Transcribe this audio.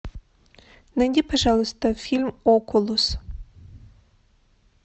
найди пожалуйста фильм окулус